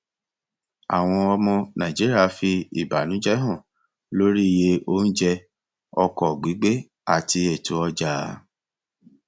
àwọn ọmọ nàìjíríà fi ìbànújẹ hàn lórí iye oúnjẹ ọkọ gbígbé àti ètò ọjà